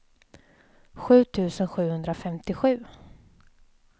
sju tusen sjuhundrafemtiosju